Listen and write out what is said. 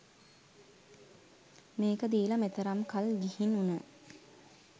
මේක දීල මෙතරම් කල් ගිහින් වුන